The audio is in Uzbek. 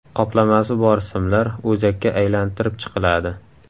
Qoplamasi bor simlar o‘zakka aylantirib chiqiladi.